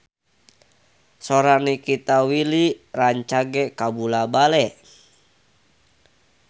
Sora Nikita Willy rancage kabula-bale